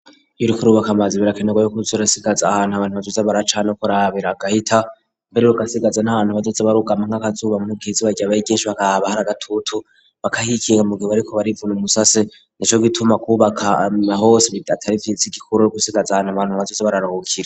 Iyo uriko urubaka ubakamazi birakenerwa yo kuzerasigaza ahantu abantu bazuze baracana ko rabera gahita mbererug sigaza n'abantu bajetse barugama nk'akazuba mu giizi bajya bayi ginshi bakah abahari gatutu bakahikiwa mu gibo ariko barivuna umusasi nico gituma kubaka nahosd atarifsi gikururo gusigaza ahantu abantu abazuze bararahukira.